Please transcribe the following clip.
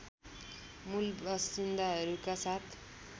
मूल बासिन्दाहरूका साथ